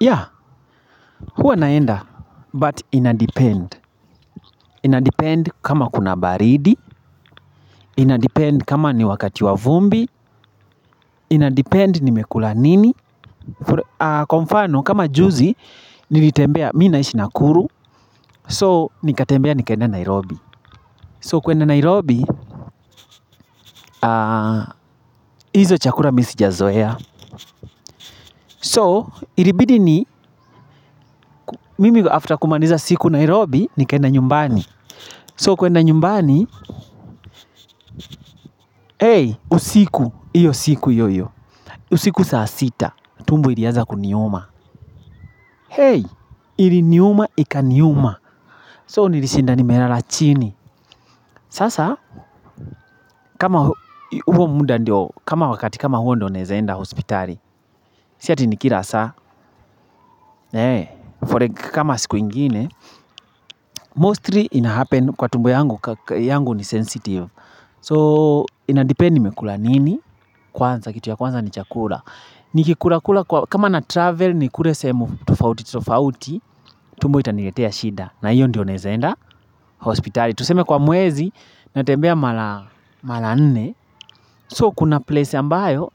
Yeah, huwa naenda, but ina depend. Ina depend kama kuna baridi, ina depend kama ni wakati wa vumbi, ina depend nimekula nini. Kwa mfano, kama juzi, nilitembea, mi naishi nakuru, so nikatembea, nikaenda Nairobi. So, kuenda Nairobi, izo chakula mi sijazoea. So, ilibidi ni, mimi after kumaliza siku Nairobi, nikaenda nyumbani. So kwenda nyumbani, hey, usiku, iyo siku io io, usiku saa sita, tumbo ilianza kuniuma, hey, ili niuma ikaniuma, so nilishinda nimelala chini, sasa, kama huo muda ndio, kama wakati kama huo ndio naeza enda hospitali, si ati ni kila saa, eeh, kama siku ingine, mostly inahappen kwa tumbo yangu, yangu ni sensitive, so inadipend nimekula nini, kwanza, kitu ya kwanza ni chakula, ni kikula kula kwa kama na travel nikule semu tofauti tofauti. Tumbo itaniletea shida na iyo ndio naeza enda hospitali. Tuseme kwa mwezi natembea mara mara nne. So kuna place ambayo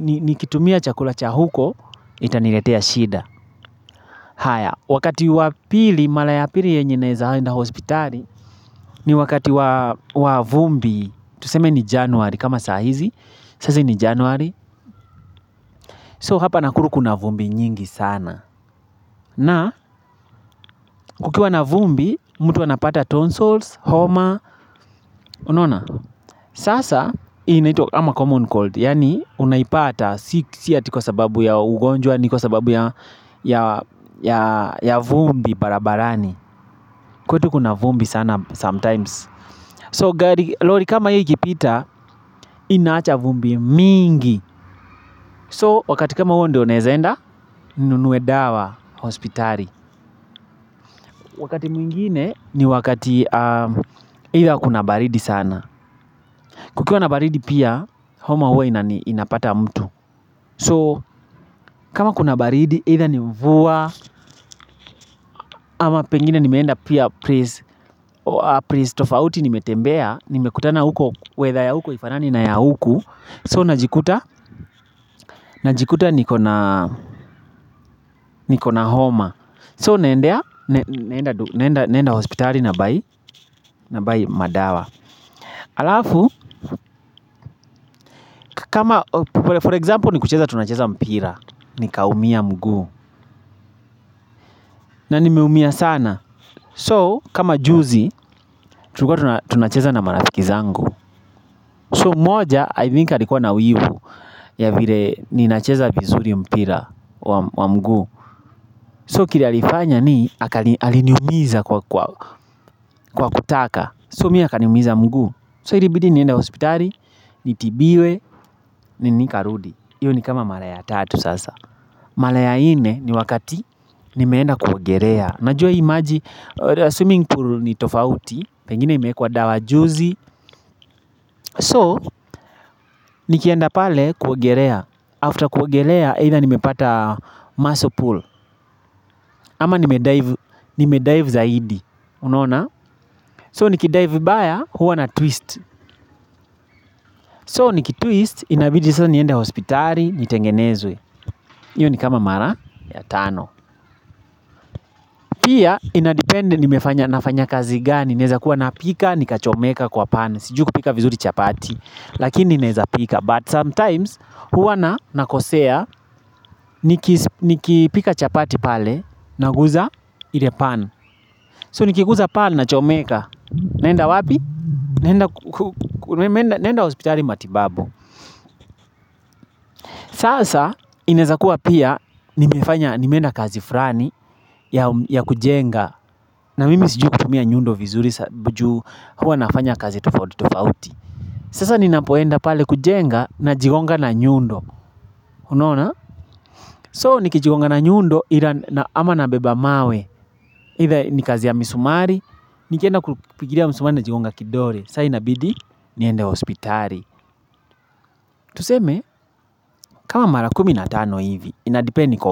nikitumia chakula chahuko itaniletea shida haya wakati wa pili mara ya pili yenye naeza enda hospitali ni wakati wa wa vumbi tuseme ni january kama sa hizi, saa hizi ni january so hapa nakuru kuna vumbi nyingi sana. Na, kukiwa na vumbi, mtu anapata tonsils, homa, unona? Sasa, inaitwa ama common cold. Yani, unaipata, si si ati kwa sababu ya ugonjwa, ni kwa sababu ya ya ya ya vumbi barabarani. Kwetu kuna vumbi sana sometimes. So, gari lori kama hii ikipita, inaacha vumbi mingi. So, wakati kama huo ndo naeza enda, ni nunue dawa, hospitali. Wakati mwingine ni wakati pia kuna baridi sana. Kukiwa na baridi pia, homa huwa inani inapata mtu. So, kama kuna baridi, either ni mvua, ama pengine nimeenda pia place place tofauti nimetembea, nimekutana huko, weather ya huko haifanani na ya huku. So, najikuta, najikuta nikona nikona homa. So, naendea, naenda naenda hospitali na buy, na buy madawa. Alafu, kama, for example, ni kucheza tunacheza mpira nikaumia mguu. Na nimeumia sana. So, kama juzi, tulikuwa tuna tunacheza na maraziki zangu. So, mmoja, ithink alikuwa na wivu ya vile, ni nacheza vizuri mpira wa mguu. So, kile alifanya ni, aliniumiza kwa kwa kwa kutata so mi akaniumiza mguu. So, ilibidi niende hospitali, nitibiwe, na nika rudi iyo ni kama mara ya tatu sasa. Mara ya nne ni wakati nimeenda kuogelea. Unajua hii maji, assuming ni tofauti, pengine imewekwa dawa juzi. So, nikienda pale kuogelea. After kuogelea, either nimepata muscle pull. Ama nime dive nimedive zaidi, unona? So, nikidive vibaya, huwa na twist. So, nikitwist, inabidi sasa niende hospitali, nitengenezwe. Iyo ni kama mara ya tano. Pia inadepend nimefanya nafanya kazi gani naeza kuwa napika nikachomeka kwa pan sijui kupika vizuri chapati lakini naeza pika, but sometimes huwa na nakosea niki nikipika chapati pale naguza ile pan. So nikiguza pan nachomeka, naenda wapi? Naenda naenda hospitali matibabu. Sasa inezakuwa pia nimefanya nimeenda kazi flani ya kujenga na mimi siju kutumia nyundo vizuri juu hua nafanya kazi tofauti tofauti. Sasa ninapoenda pale kujenga na jigonga na nyundo, unona? So nikijigonga na nyundo ama na beba mawe, either ni kazi ya misumari, nikienda kupigilia misumari najigonga kidole. Sa inabidi, niende hospitali. Tuseme, kama mara kumi na tano hivi. Inadipend niko wa.